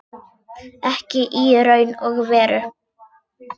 Ekki í raun og veru.